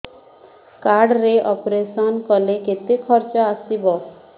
card ରେ operation କଲେ କେତେ ଖର୍ଚ ଆସିବ